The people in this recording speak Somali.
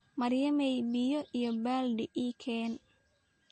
Maryamay, biyo iyo baaldi ii keen .